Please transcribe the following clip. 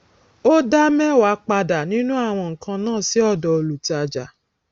o dá mẹwàá padà nínú àwọn nǹkàn náà sì ọdọ olùtájà